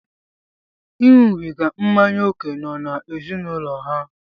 Iṅụbiga mmanya ókè nọ n'ezinụlọ ha.